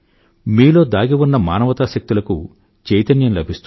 మీలో దాగి ఉన్న మానవతా శక్తులకు చైతన్యం లభిస్తుంది